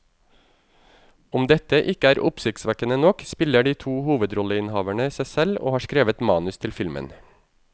Om dette ikke er oppsiktsvekkende nok, spiller de to hovedrolleinnehaverne seg selv og har skrevet manus til filmen.